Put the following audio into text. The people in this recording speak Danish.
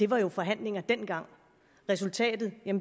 var jo forhandlinger dengang og resultatet